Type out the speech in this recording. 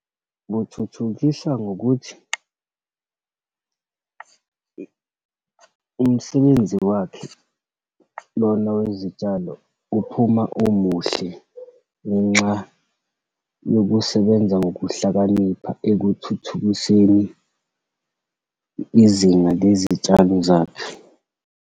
Buthuthukisa ngokuthi umsebenzi wakhe, lona wezitshalo, uphuma umuhle ngenxa yokusebenza ngokuhlakanipha ekuthuthukiseni izinga lezitshalo zakhe.